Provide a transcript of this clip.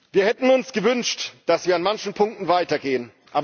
Wir hätten uns gewünscht, dass wir an manchen Punkten weitergehen.